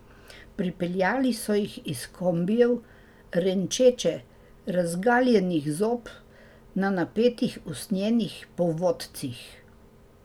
Pripeljali so jih iz kombijev, renčeče, razgaljenih zob, na napetih usnjenih povodcih.